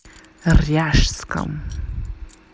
ряжском